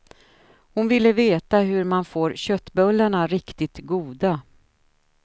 Hon ville veta hur man får köttbullarna riktigt goda.